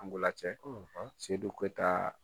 Ndolan cɛ seyidu keyitaa